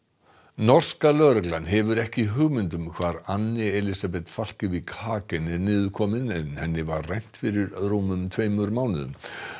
norska lögreglan hefur ekki hugmynd um hvar Anne Elisabeth Falkevik Hagen er niðurkomin en henni var rænt fyrir rúmum tveimur mánuðum